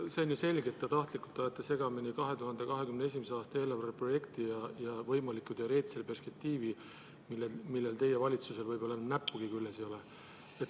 See on ju selge, et te tahtlikult ajate segamini 2021. aasta eelarve projekti ja võimaliku teoreetilise perspektiivi, millel teie valitsuse näppugi küljes ei ole.